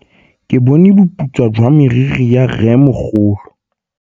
Ke bone boputswa jwa meriri ya rrêmogolo.